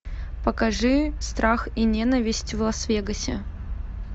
покажи страх и ненависть в лас вегасе